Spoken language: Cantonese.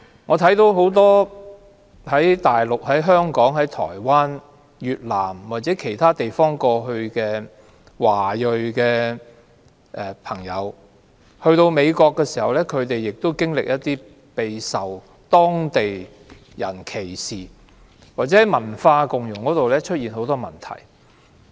我看到很多從內地、香港、台灣、越南或其他地方前往美國的華裔朋友，到美國後亦備受當地人歧視，或在文化共融方面出現很多問題。